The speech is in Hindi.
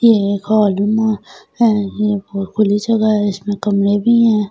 ये एक हौलूमा है ये बहुत खुली जगह है इसमे कमरे भी है ।